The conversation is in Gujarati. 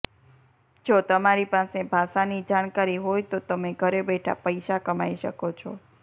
જો તમારી પાસે ભાષાની જાણકારી હોય તો તમે ઘરે બેઠા પૈસા કમાઈ શકો છો